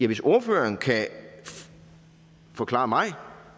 hvis ordføreren kan forklare mig